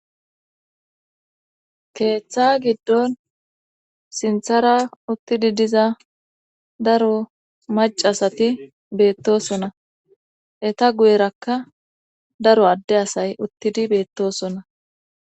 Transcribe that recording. Keeththa giddon sinthara uttidi diza daro mac asati beettosona eta guyerakka daro adde asay uttidi beettosona.